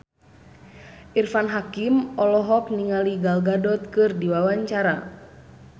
Irfan Hakim olohok ningali Gal Gadot keur diwawancara